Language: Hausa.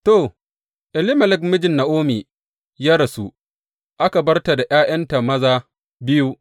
To, Elimelek mijin Na’omi ya rasu, aka bar ta da ’ya’yanta maza biyu.